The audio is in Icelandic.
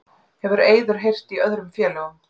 Hefur Eiður heyrt í öðrum félögum?